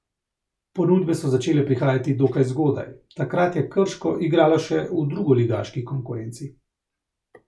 Ponudbe so začele prihajati dokaj zgodaj, takrat je Krško igralo še v drugoligaški konkurenci.